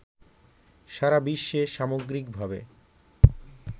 সারাবিশ্বে সামগ্রিকভাবে